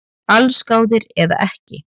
Allsgáðir eða ekki